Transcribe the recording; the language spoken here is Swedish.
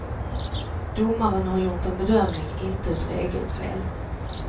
Domaren har gjort en bedömning, inte ett regelfel.